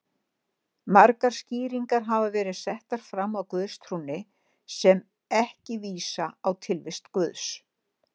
Margar skýringar hafa verið settar fram á guðstrúnni sem ekki vísa á tilvist Guðs.